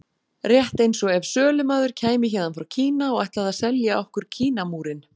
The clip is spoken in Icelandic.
Rétt eins og ef sölumaður kæmi héðan frá Kína og ætlaði að selja okkur Kínamúrinn.